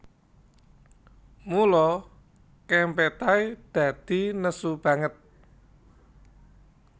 Mula Kempetai dadi nesu banget